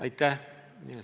Aitäh!